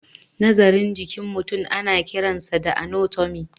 Nazarin jikin mutum ana kiransa da anatomy.